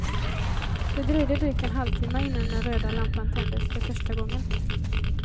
Det dröjde drygt en halvtimme innan den röda lampan tändes för första gången.